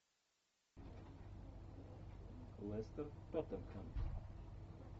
лестер тоттенхэм